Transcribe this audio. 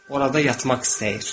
Orada yatmaq istəyir.